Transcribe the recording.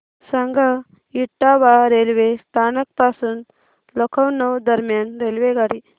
सांगा इटावा रेल्वे स्थानक पासून लखनौ दरम्यान रेल्वेगाडी